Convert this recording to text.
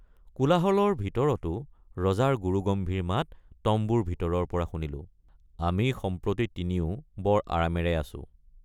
কোলাহলৰ ভিতৰতো ৰজাৰ গুৰুগম্ভীৰ মাত তম্বুৰ ভিতৰৰপৰা শুনিলোঁ আমি সম্প্ৰতি তিনিও বৰ আৰামেৰে আছোঁ।